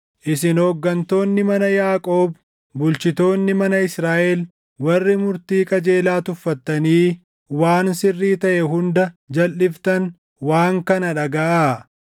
Isin hooggantoonni mana Yaaqoob bulchitoonni mana Israaʼel warri murtii qajeelaa tuffattanii waan sirrii taʼe hunda jalʼiftan waan kana dhagaʼaa;